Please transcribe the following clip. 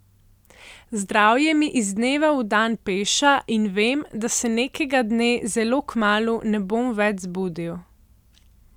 Zdravje mi iz dneva v dan peša in vem, da se nekega dne, zelo kmalu, ne bom več zbudil.